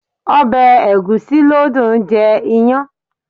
Ọbẹ̀ egusi ló dùn jẹ iyán.